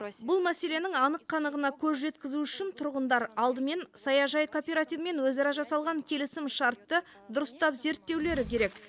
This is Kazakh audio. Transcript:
бұл мәселенің анық қанығына көз жеткізу үшін тұрғындар алдымен саяжай кооперативімен өзара жасалған келісімшартты дұрыстап зерттеулері керек